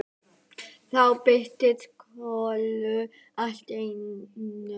Þá birtist Kolur allt í einu.